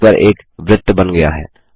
page पर एक वृत्त बन गया है